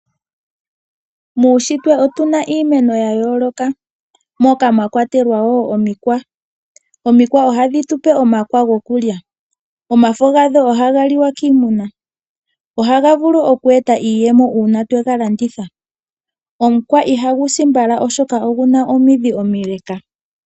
Muushitwe otu na iimeno ya yooloka. Moka mwa kwatelwa wo omikwa. Omikwa ohadhi tu pe omakwa gokulya. Omafo gadho ohaga liwa kiimuna. Ohaga vulu oku eta iiyemo uuna twe ga landithwa. Omukwa ihagu si mbala, oshoka ogu na omidhi omile.